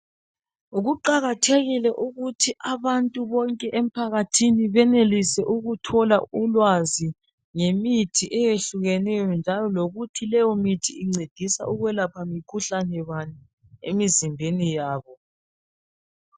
Kuqakathekile ukuthi abantu bonke emphakathini benelise ukuthola ulwazi ngemithi eyehlukeneyo njalo lokuthi leyo mithi incedisa ukuyelapha mkhuhlane bani emizimbeni yabo.